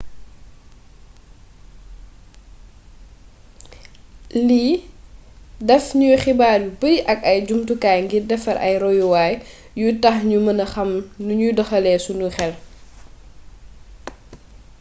lii daf ñuy xibaar yu bari ak ay jumtukaay ngir defar ay royuwaay yuy tax ñu mëna xàm nañuy doxalee sunu xél